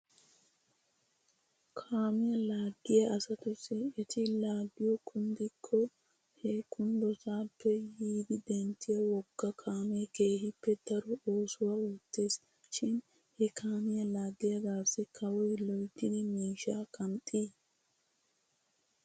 Kaamiyaa laaggiyaa asatussi eti laaggiyoo kunddikke he kunddosaappe yidi denttiyaa woga kaamee keehippe daro oosuwaa oottes shin he kaamiyaa laagiyaagaasi kawoy loyttidi miishshaa qanxxii?